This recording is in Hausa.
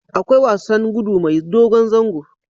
Akwai wasan gudu mai dogon zango